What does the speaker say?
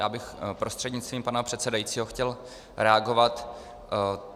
Já bych prostřednictvím pana předsedajícího chtěl reagovat.